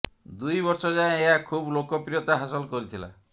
ଦୁଇ ବର୍ଷ ଯାଏ ଏହା ଖୁବ୍ ଲୋକପ୍ରିୟତା ହାସଲ କରିଥିଲା